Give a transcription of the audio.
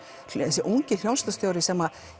þessi ungi hljómsveitarstjóri sem